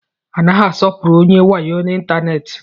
A naghị asọpụrụ onye wayo ịntanetị.